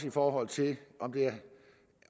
i forhold til